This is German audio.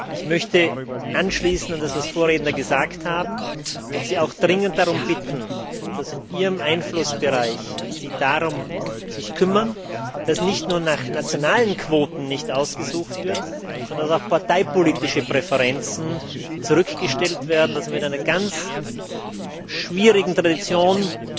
Ich möchte anschließen an das, was Vorredner gesagt haben, und Sie auch dringend darum bitten, dass Sie sich in Ihrem Einflussbereich darum kümmern, dass nicht nur nicht nach nationalen Quoten ausgesucht wird, sondern auch parteipolitische Präferenzen zurückgestellt werden, damit man mit einer ganz schwierigen Tradition im